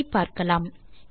இதை பார்க்கலாம்